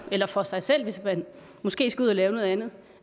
eller for sig selv hvis man måske skal ud at lave noget andet